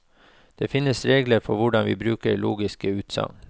Det finnes regler for hvordan vi bruker logiske utsagn.